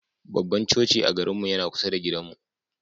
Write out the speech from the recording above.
Babban coci a garinmu yana kusa da gidanmu.